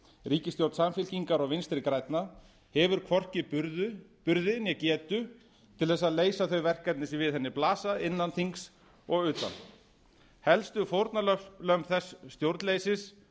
ríkisstjórn samfylkingar og vinstri grænna hefur hvorki burði né getu til þess að leysa þau verkefni sem við henni blasa innan þings og utan helstu fórnarlömb þess stjórnleysis